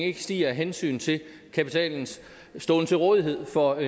ikke stiger af hensyn til kapitalens ståen til rådighed for